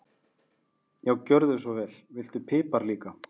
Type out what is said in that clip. Já, gjörðu svo vel. Viltu pipar líka?